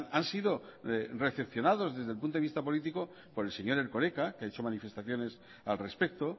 han sido decepcionados desde el punto de vista político por el señor erkoreka que ha hecho manifestaciones al respecto